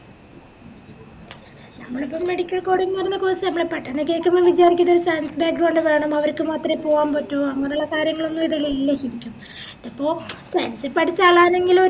നമ്മളിപ്പോ medical coding course മ്മള് പെട്ടന്ന് കേക്കുമ്പോ വിചാരിയ്ക്ക ഇത് science വേണം അവര്ക്ക് മാത്രേ പോകാൻ പറ്റു അങ്ങനെയുള്ള കാര്യങ്ങളൊന്നും ഇതിലില്ല ശെരിക്കും ഇതിപ്പോ മ്‌ചം science പഠിച്ച ആളെങ്കിലൊര്